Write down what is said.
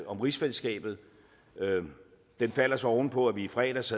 om rigsfællesskabet den falder så oven på at vi i fredags